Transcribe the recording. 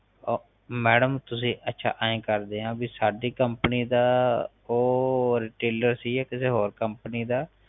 ਓ madam ਤੁਸੀ ਅੱਛਾ ਐ ਕਰਦੇ ਆ ਬੀ ਸਾਡੀ ਕੰਪਨੀ ਦਾ ਉਹ retailor ਸੀ ਜਾ ਕਿਸੇ ਹੋਰ ਕੰਪਨੀ ਦਾ